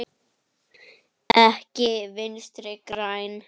Ekki Vinstri græn.